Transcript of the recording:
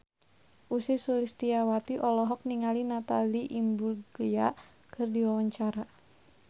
Ussy Sulistyawati olohok ningali Natalie Imbruglia keur diwawancara